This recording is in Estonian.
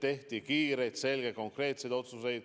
Tehti kiireid, selgeid ja konkreetseid otsuseid.